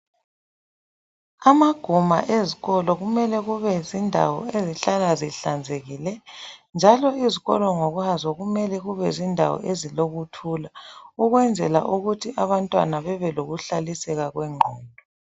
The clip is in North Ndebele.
Amaguma ezikolo kumele kube zindawo ezihlala zihlanzekile njalo izikolo ngokwazo kumele kube zindawo ezilokuthula ukwenzela ukuthi abantwana babelokuhlaliseka kwengqondo.